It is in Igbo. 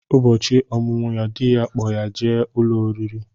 Ụbọchị ọmụmụ ya, dị ya kpọ ya jee ụlọ oriri